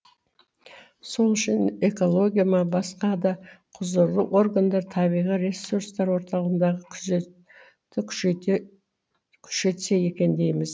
сол үшін экология ма басқа да құзырлы органдар табиғи ресурстар орталығындағы күзетті күшейтсе екен дейміз